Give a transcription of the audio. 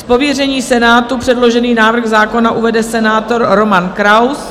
Z pověření Senátu předložený návrh zákona uvede senátor Roman Kraus.